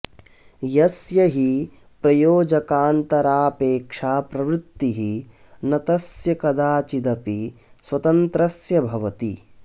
यस्य हि प्रयोजकान्तरापेक्षा प्रवृत्तिः न तस्य कदाचिदपि स्वतन्त्रस्य भवति